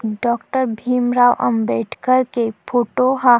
Doctor Bhimrao Ambedkar के photo ह।